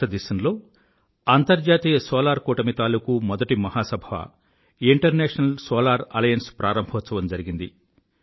భారతదేశంలో అంతర్జాతీయ సోలార్ కూటమి తాలూకూ మొదటి మహాసభ ఇంటర్నేషనల్ సోలార్ అలియన్స్ ప్రారంభోత్సవం జరిగింది